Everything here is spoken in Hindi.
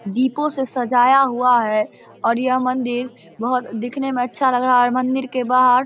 दीपों से सजाया हुआ है और यह मंदिर बहुत दिखने में अच्छा लग रहा है और मंदिर के बाहर --